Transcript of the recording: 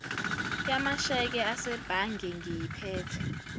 yamasheke asebhange ngiyiphethe